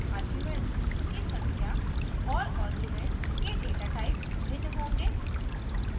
arguments की संख्या और arguments के datatype भिन्न होंगे